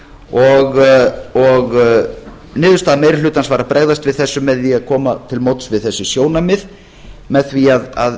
og og niðurstaða meiri hlutans var að bregðast við þessu með því að koma til móts við þessi sjónarmið með því að